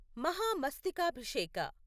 Mahamastakabhisheka